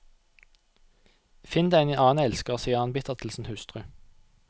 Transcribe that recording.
Finn deg en annen elsker, sier han bittert til sin hustru.